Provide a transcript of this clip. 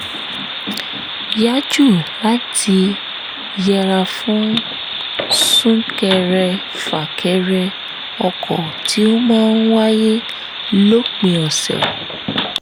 yá jù láti yẹra fún sún-kẹrẹ-fà-kẹrẹ ọkọ̀ tí ó máa ń wáyé lópin ọ̀sẹ̀